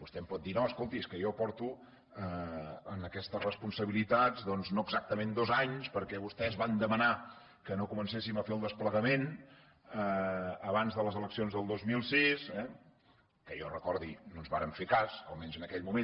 vostè em pot dir no escolti és que jo porto en aquestes responsabilitats doncs no exactament dos anys perquè vostès van demanar que no comencéssim a fer el desplegament abans de les eleccions del dos mil sis eh que jo recordi no ens varen fer cas almenys en aquell moment